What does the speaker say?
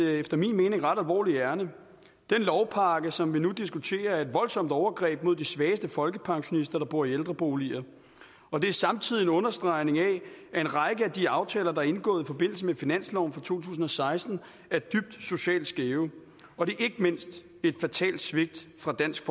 et efter min mening ret alvorligt ærinde den lovpakke som vi nu diskuterer er et voldsomt overgreb mod de svageste folkepensionister der bor i ældreboliger og det er samtidig en understregning af at en række af de aftaler der er indgået i forbindelse med finansloven for to tusind og seksten socialt skæve og det er ikke mindst et fatalt svigt fra dansk